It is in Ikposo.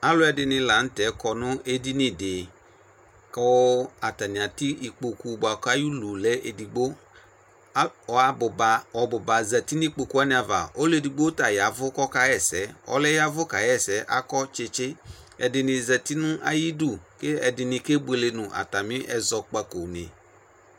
Alʋ ɛdini la nʋtɛ kɔnʋ edini di kʋ atani atɛ ikpokʋ bʋakʋ ayi ʋlʋlɛ edigbo ɔbʋba zati nʋ ikpokʋ wani ava ɔlʋ edigbo ta yavʋ kʋ ɔkaxa ɛsɛ ɔlʋɛ yavʋ kaxa ɛsɛ akɔ tsitsi ɛdinibzati nʋ ayidʋ kʋ ɛdini kebuele nʋ atami ɛzɔkpakoni